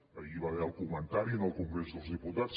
ahir hi va haver el comentari al congrés dels diputats